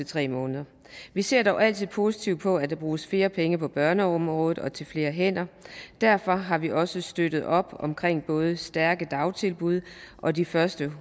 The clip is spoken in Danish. tre måneder vi ser dog altid positivt på at der bruges flere penge på børneområdet og til flere hænder og derfor har vi også støttet op om både stærke dagtilbud og de første